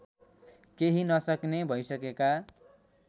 केही नसक्ने भइसकेका